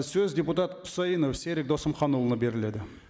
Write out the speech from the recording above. сөз депутат құсайынов серік досымханұлына беріледі